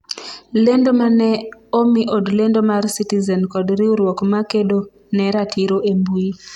lendo mane omi od lendo mar citizen kod riwruok makedo ne ratiro e mbui